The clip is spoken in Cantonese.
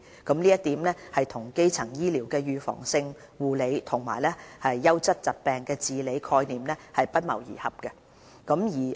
這一點正與基層醫療的預防性護理和優質疾病治理的概念不謀而合。